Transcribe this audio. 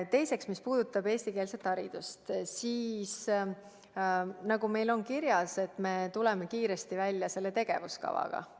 Teiseks, mis puudutab eestikeelset haridust, siis nagu meil on kirjas, me tuleme selle tegevuskavaga kiiresti välja.